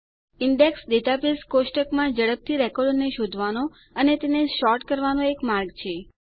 index database કોષ્ટકમાં ઝડપથી રેકોર્ડોને શોધવાનો અને તેને સોર્ટ કરવાનો એક માર્ગ છે